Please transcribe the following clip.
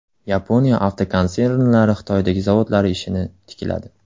Yaponiya avtokonsernlari Xitoydagi zavodlari ishini tikladi.